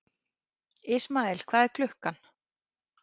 Ismael, hvað er klukkan?